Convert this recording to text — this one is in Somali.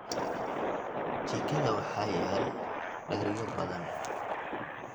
Jikada waxaa yaal dheryo badan.